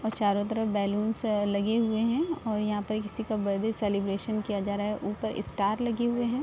और चारों तरफ बैलून्स है लगे हुए है और यहाँ पर किसी का बर्थडे सेलिब्रेशन किया जा रहा है ऊपर स्टार लगे हुए है ।